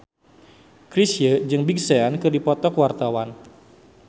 Chrisye jeung Big Sean keur dipoto ku wartawan